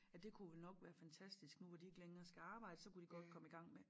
At det kunne vel nok være fantastisk nu hvor de ikke længere skal arbejde så kunne de godt komme i gang med